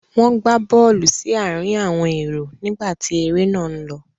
Wọ́n gbá bọ́ọ́lù sí àárín àwọn èrò nígbà tí eré náà ń lọ.